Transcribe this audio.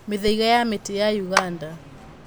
Mĩthaiga ya mĩtĩ ya Uganda